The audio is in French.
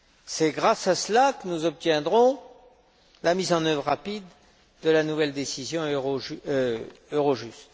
C'est grâce à cela que nous obtiendrons la mise en œuvre rapide de la nouvelle décision Eurojust.